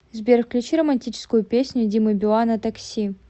сбер включи романтическую песню димы билана такси